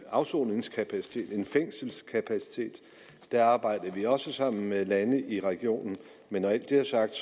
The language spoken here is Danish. afsoningskapaciteten en fængselskapacitet og der arbejdede vi også sammen med landene i regionen men når alt det er sagt